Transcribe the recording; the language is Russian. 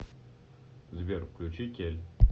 сбер включи кель